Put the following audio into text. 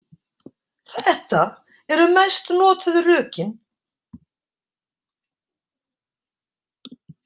Þetta eru mest notuðu rökin.